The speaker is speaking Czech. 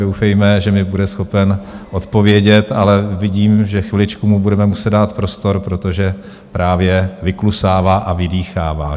Doufejme, že mi bude schopen odpovědět, ale vidím, že chviličku mu budeme muset dát prostor, protože právě vyklusává a vydýchává.